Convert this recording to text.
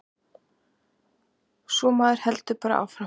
Svo maður heldur bara áfram.